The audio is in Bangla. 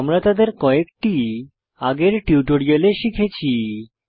আমরা তাদের কয়েকটি আগের টিউটোরিয়ালে শিখেছি